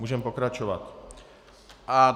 Můžeme pokračovat.